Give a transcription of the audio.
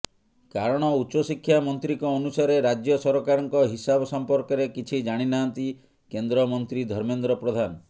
କାରଣ ଉଚ୍ଚଶିକ୍ଷା ମନ୍ତ୍ରୀଙ୍କ ଅନୁସାରେ ରାଜ୍ୟ ସରକାରଙ୍କ ହିସାବ ସମ୍ପର୍କରେ କିଛି ଜାଣିନାହାନ୍ତି କେନ୍ଦ୍ରମନ୍ତ୍ରୀ ଧର୍ମେନ୍ଦ୍ର ପ୍ରଧାନ